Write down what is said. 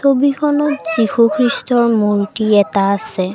ছবিখনত যীশুখ্ৰীষ্টৰ মূৰ্ত্তি এটা আছে।